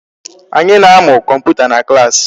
Anyị na-amụ kọmputa na class.